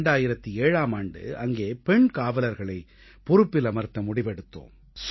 2007ஆம் ஆண்டு அங்கே பெண் காவலர்களை பொறுப்பில் அமர்த்த முடிவெடுத்தோம்